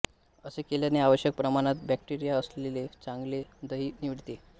असे केल्याने आवश्यक प्रमाणात बॅक्टेरिया असलेले चांगले दही मिळते